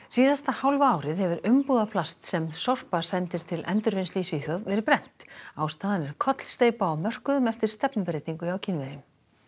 síðasta hálfa árið hefur umbúðaplast sem Sorpa sendir til endurvinnslu í Svíþjóð verið brennt ástæðan er kollsteypa á mörkuðum eftir stefnubreytingu hjá Kínverjum